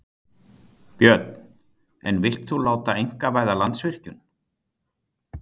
Björn: En vilt þú láta einkavæða Landsvirkjun?